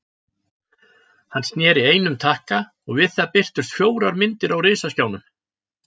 Hann sneri einum takka og við það birtust fjórar myndir á risaskjánum.